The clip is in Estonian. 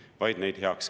Aitäh, austatud esimees!